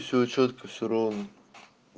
всё чётко всё ровно